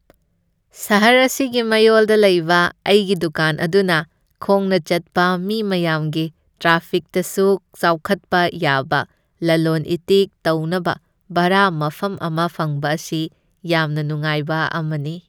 ꯁꯍꯔ ꯑꯁꯤꯒꯤ ꯃꯌꯣꯜꯗ ꯂꯩꯕ ꯑꯩꯒꯤ ꯗꯨꯀꯥꯟ ꯑꯗꯨꯅ ꯈꯣꯡꯅ ꯆꯠꯄ ꯃꯤ ꯃꯌꯥꯝꯒꯤ ꯇ꯭ꯔꯥꯐꯤꯛꯇꯁꯨ ꯆꯥꯎꯈꯠꯄ ꯌꯥꯕ, ꯂꯂꯣꯟ ꯏꯇꯤꯛ ꯇꯧꯅꯕ ꯚꯔꯥ ꯃꯐꯝ ꯑꯃ ꯐꯪꯕ ꯑꯁꯤ ꯌꯥꯝꯅ ꯅꯨꯡꯉꯥꯏꯕ ꯑꯃꯅꯤ꯫